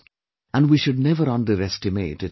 And we should never underestimate its value